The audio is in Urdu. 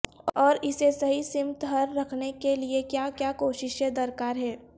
اور اسے صحیح سمت ہر رکھنے کے لیئے کیا کیا کوششیں درکار ہیں